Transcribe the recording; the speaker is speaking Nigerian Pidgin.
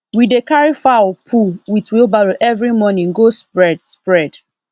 we dey carry fowl poo with wheelbarrow every morning go spread spread